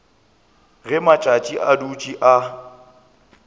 ge matšatši a dutše a